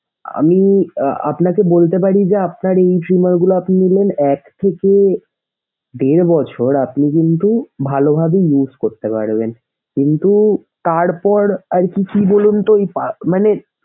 আমি আহ আপনাকে বলতে পারি যে আপনার এই সিন গুলো আপনি নিলেন এক থেকে দেড় বছর আপনি কিন্তু ভালোভাবে use করতে পারবেন কিন্তু তারপর আর কি কি বলুনতো।